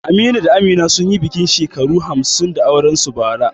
Aminu da Amina sun yi bikin shekararsu hamsin da aure a bara.